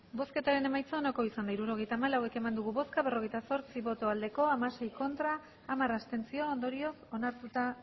hirurogeita hamalau eman dugu bozka berrogeita zortzi bai hamasei ez hamar abstentzio ondorioz onartuta